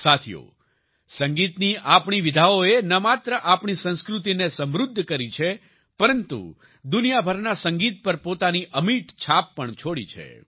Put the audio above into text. સાથીઓ સંગીતની આપણી શૈલીઓએ ન માત્ર આપણી સંસ્કૃતિને સમૃદ્ધ કરી છે પરંતુ દુનિયાભરના સંગીત પર પોતાની અમિટ છાપ પણ છોડી છે